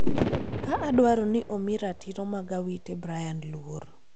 ka dwaro ni omi ratiro mag Awiti Brian luor.